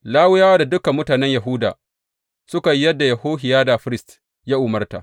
Lawiyawa da dukan mutanen Yahuda suka yi yadda Yehohiyada firist ya umarta.